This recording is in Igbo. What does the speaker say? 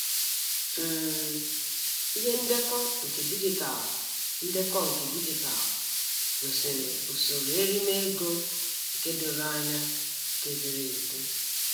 um Ihe ndekọ nke digitalu ndekọ nke digitalu gosiri usoro erime ego nke doro anya nke ziri ezi.